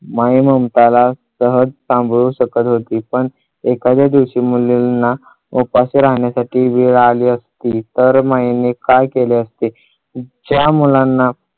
माई ममताला सहज सांभाळू शकत होती. पण एखाद्या दिवशी मुलींना उपाशी राहण्यासाठी वेळ आली असती तर माईने काय केले असते. ज्या मुलांना